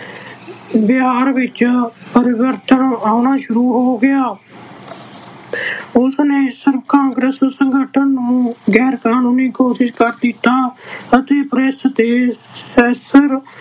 ਵਿਹਾਰ ਵਿੱਚ ਪਰਿਵਰਤਨ ਆਉਣਾ ਸ਼ੁਰੂ ਹੋ ਗਿਆ। ਉਸਨੇ ਆਹ ਸਿਰਫ ਕਾਂਗਰਸੀ ਸੰਗਠਨ ਨੂੰ ਗੈਰ-ਕਾਨੂੰਨੀ ਘੋਸ਼ਿਤ ਤਾਂ ਕੀਤਾ ਅਤੇ press ਤੇ censor